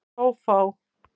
Hrófá